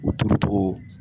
U turu togo